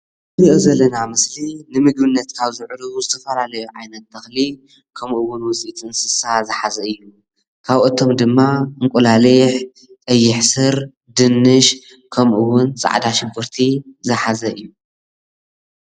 እዚ ንሪኦ ዘለና ምስሊ ንምግብነት ካብዝውዕሉ ዝተፈላለዩ ዓይነት ተኽሊ ክምኡ ውን ውፅኢት እንስሳን ዝሓዘ እዩ። ካብአቶም ድማ እንቑላሊሕ፣ ቀይሕ ሱር፣ ድንሽ ከምኡውን ፃዕዳ ሽጉርቲ ዝሓዘ እዩ።